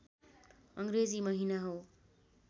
अङ्ग्रेजी महिना हो